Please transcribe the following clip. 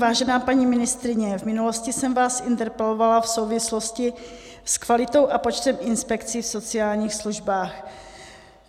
Vážená paní ministryně, v minulosti jsem vás interpelovala v souvislosti s kvalitou a počtem inspekcí v sociálních službách.